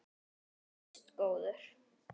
Hann þóttist góður.